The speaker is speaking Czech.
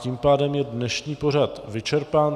Tím pádem je dnešní pořad vyčerpán.